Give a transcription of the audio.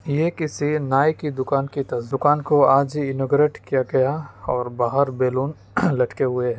यह किसी नाई की दुकान को आज ही इनौगरेट किया गया है और बाहर बैलून लटके हैं |